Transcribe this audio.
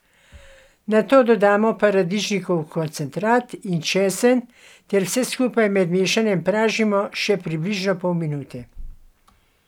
Nato dodamo paradižnikov koncentrat in česen ter vse skupaj med mešanjem pražimo še približno pol minute.